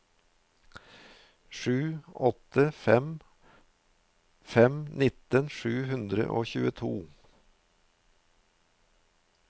sju åtte fem fem nitten sju hundre og tjueto